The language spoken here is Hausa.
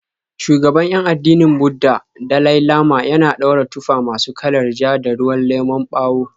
Shugaban 'yan addinin Budda, Dalai Lama, yana daura tufa masu kalar ja da ruwan lemon bawo.